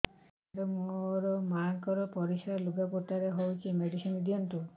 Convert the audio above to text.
ସାର ମୋର ମାଆଙ୍କର ପରିସ୍ରା ଲୁଗାପଟା ରେ ହଉଚି ମେଡିସିନ ଦିଅନ୍ତୁ